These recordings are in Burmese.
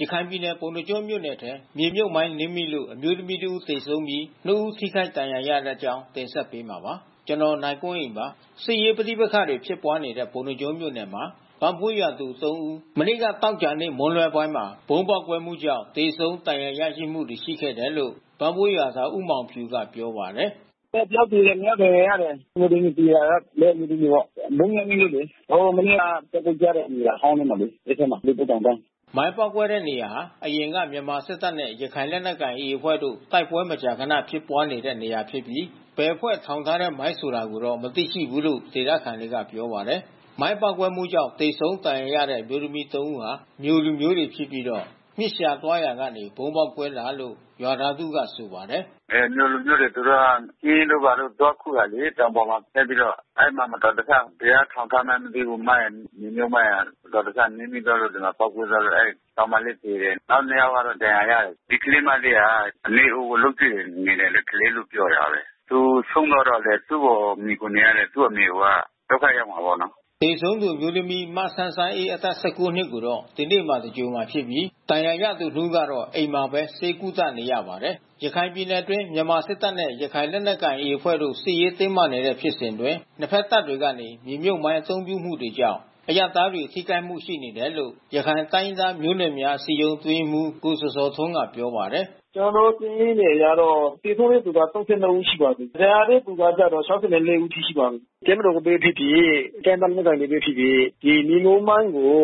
ရခိုင်ပြည်နယ် ပုဏ္ဏားကျွန်းမြို့နယ်ထဲ မြေမြှုပ်မိုင်းနင်းမိလို့ အမျိုးသမီးတဦး သေဆုံးပြီး ၂ ဦး ထိခိုက်ဒဏ်ရာရသွားပါတယ်။ အပြည့်အစုံကို နိုင်ကွန်းအိန် ဆက်သွယ်မေးမြန်းပြီး တင်ပြထားပါတယ်။ စစ်ရေးပဋိပက္ခတွေ ဖြစ်ပွားနေတဲ့ ပုဏ္ဏားကျွန်းမြို့နယ်မှာ ဗန့်ဘွေးရွာသူ ၃ ဦး မနေ့ သောကြာနေ့ မွန်းလွဲပိုင်းမှာ မိုင်းပေါက်ကွဲမှုကြောင့် သေဆုံးဒဏ်ရာရရှိမှုတွေ ရှိခဲ့တယ်လို့ ဗန့်ဘွေးရွာသား ဦးမောင်ဖြူက ပြောပါတယ်။ “တယောက်သေတယ်၊ နှစ်ယောက်ဒဏ်ရာရတယ်။ အမျိုးသမီး ဒီရွာက အမျိုးသမီးတွေပေါ့။ မိုင်းနင်းမိလို့လေ။ ဟို မနှစ်က တိုက်ပွဲဖြစ်တဲ့ နေရာဟောင်းမှာလေ။ လိပ်ပုတ်တောင်တန်း။” မိုင်းပေါက်ကွဲတဲ့နေရာဟာ အရင်က မြန်မာစစ်တပ်နဲ့ ရခိုင်လက်နက်ကိုင် AA အဖွဲ့တို့ တိုက်ပွဲမကြာခနဖြစ်ပွားနေတဲ့ နေရာဖြစ်ပြီး ဘယ်အဖွဲ့ထောင်ထားတဲ့မိုင်း ဆိုတာကိုတော့ မသိရှိဘူးလို့ ဒေသခံတွေက ပြောပါတယ်။ ဗုံးပေါက်ကွဲမှုကြောင့် သေဆုံးဒဏ်ရာရရှိတဲ့ အမျိုးသမီး ၃ ဦးဟာ မြိုလူမျိုးတွေဖြစ်ပြီး မျှစ်ရှာသွားရာကနေ ဗုံးပေါက်ကွဲခဲ့တယ်လို့ ရွာသားတဦးက ဆိုပါတယ်။ “မြိုလူမျိုးတွေ သူတို့က မျှစ်တို့ဘာတို့ သွားခူးတာလေ။ တောင်ပေါ်မှာ တက်ပြီးတော့ အဲဒီမှာ မတော်တဆ ဘယ်ကထောင်ထားမှန်းမသိဘူး မိုင်း မြေမြှုပ်မိုင်းက။ မတော်တဆ နင်းမိသွားတာ ပေါက်ကွဲသွားတော့ ကောင်မလးသေတယ်။ နောက်နှစ်ယောက်က ဒဏ်ရာရတယ်။ ဒီကလေးမလေးဟာ အမေအိုကို လုပ်ကျွေးနေတဲ့ ကလေးလို့ ပြောတာပဲ။ သူဆုံးသွားတော့လည်း သူ့ကိုမှီခိုနေရတဲ့ သူ့အမေအိုက ဒုက္ခရောက်မှာပေါ့နော်။” သေဆုံးသူအမျိုးသမီး မဆန်းဆန်းအေး အသက် ၁၉ နှစ်ကိုတော့ ဒီနေ့မှာ သင်္ဂြိုဟ်မှာဖြစ်ပြီး ဒဏ်ရာရသူနှစ်ဦးကတော့ အိမ်မှာပဲ ဆေးကုသနေရပါတယ်။ ရခိုင်ပြည်နယ်အတွင်း မြန်မာစစ်တပ်နဲ့ ရခိုင်လက်နက်ကိုင် AA အဖွဲ့တို့ စစ်ရေးတင်းမာနေတဲ့ ဖြစ်စဉ်အတွင်း နှစ်ဖက်တပ်တွေကနေ မြေမြှုပ်မိုင်း အသုံးပြုမှုတွေကြောင့် အရပ်သားတွေ ထိခိုက်မှုတွေ ရှိနေတယ်လို့ ရခိုင်တိုင်းရင်းသားမျိုးနွယ်များ အစည်းအရုံး အတွင်းရေးမှူး ကိုဇော်ဇော်ထွန်းက ပြောပါတယ်။ “ကျနော်တို့ စာရင်းတွေအရတော့ သေဆုံးတဲ့သူ ၃၂ ဦးရှိပါတယ်။ ဒဏ်ရာရတဲ့သူကတော့ ၆၄ ဦးရှိပါပြီ။ တပ်မတော်ပဲဖြစ်ဖြစ် တိုင်းရင်းသား လက်နက်ကိုင်ပဲဖြစ်ဖြစ် ဒီမြေမြှုပ်မိုင်းကို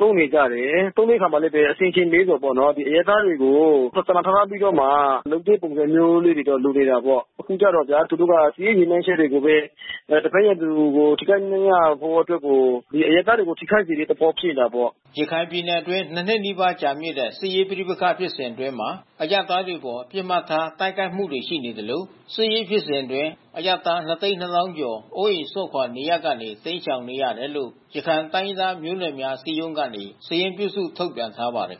သုံးနေကြတယ်။ သုံးတဲ့အခါမှာလည်းပဲ အဆင်ခြင်နည်းတယ်ပေါ့နော်။ အရပ်သားတွေကို စာနာထောက်ထားပြီးတော့မှ လုပ်တဲ့ပုံစံမျိုးလေးတော့ လိုတာပေါ့။ အခုတော့ဗျာ သူတို့က စစ်ရေးရည်မှန်းချက်တွေကိုပဲ တဖက်သူကို ထိခိုက်နစ်နာဖို့အတွက်ကို အရပ်သားတွေကို ထိခိုက်တဲ့သဘော ဖြစ်နေတာပေါ့။” ရခိုင်ပြည်နယ်အတွင်း ၂ နှစ်နီးပါးကြာမြင့်တဲ့ စစ်ရေးပဋိပက္ခ ဖြစ်စဉ်အတွင်းမှာ အရပ်သားတွေအပေါ် ပစ်မှတ်ထား တိုက်ခိုက်မှုတွေ ရှိနေသလို စစ်ရေးဖြစ်စဉ်အတွင်း အရပ်သား ၂၂၀,၀၀၀ ကျော် အိုးအိမ်စွန့်ခွာ နေရပ်ကနေ တိမ်းရှောင်နေရတယ်လို့ ရခိုင်တိုင်းရင်းသားမျိုးနွယ်များ အစည်းအရုံးကနေ စာရင်းပြုစု ထုတ်ပြန်ထားပါတယ်